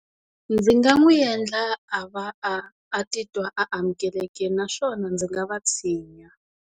Ndzi nga n'wi endla a va a, a titwa amukelekile naswona ndzi nga va tshinya.